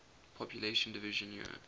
population division year